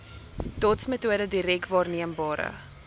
dotsmetode direk waarneembare